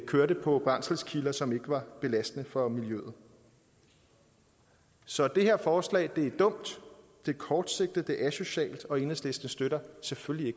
kørte på brændselskilder som ikke var belastende for miljøet så det her forslag er dumt det er kortsigtet det er asocialt og enhedslisten støtter selvfølgelig